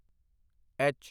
H